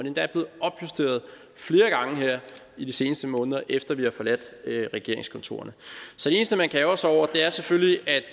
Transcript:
endda blevet opjusteret flere gange her i de seneste måneder efter at vi har forladt regeringskontorerne så det eneste man kan ærgre sig over er selvfølgelig at